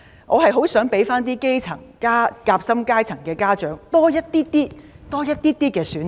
我很希望讓基層、夾心階層家長多一些選擇。